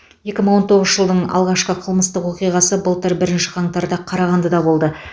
екі мың он тоғызыншы жылдың алғашқы қылмыстық оқиғасы былтыр бірінші қаңтарда қарағандыда болды